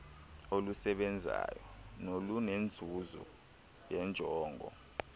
olusebenzayo nolunenzuzo yeenjongo